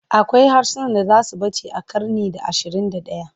Akwai harsunan da za su ɓace a ƙarni na ashirin da ɗaya.